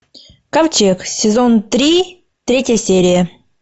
ковчег сезон три третья серия